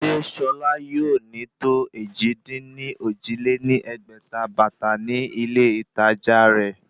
Sé Ṣọlá yóò ní tó èjì-dín-ní-ojì lé ní ẹgbẹ́ta bàtà ní ilé ìtàjà rẹ̀?